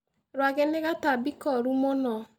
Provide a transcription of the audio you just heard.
Rwagĩ nĩ gatambi koru mũno.